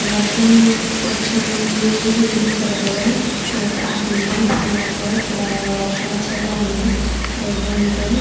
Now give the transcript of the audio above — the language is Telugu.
వర్షం వచ్చే ముందు హింట్ ఇస్తది కదా లైక్ ఆ సిఎంతమ్స్ అన్నమాట ఇక్కడ వర్షం వచ్చేలా ఉంది ప్రెసెంట్ --